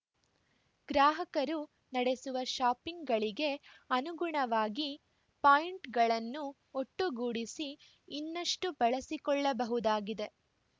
ಗ್ರಾಹಕರು ನಡೆಸುವ ಶಾಪಿಂಗ್‌ಗಳಿಗೆ ಅನುಗುಣವಾಗಿ ಪಾಯಿಂಟ್‌ಗಳನ್ನು ಒಟ್ಟುಗೂಡಿಸಿ ಇನ್ನಷ್ಟು ಬಳಸಿಕೊಳ್ಳಬಹುದಾಗಿದೆ